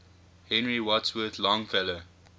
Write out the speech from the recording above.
henry wadsworth longfellow